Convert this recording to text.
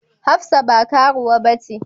Hafsat ba karuwa bace.